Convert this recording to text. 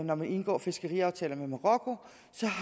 når man indgår fiskeriaftaler med marokko